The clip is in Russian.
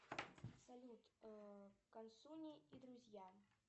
салют консуни и друзья